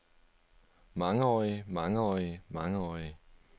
mangeårige mangeårige mangeårige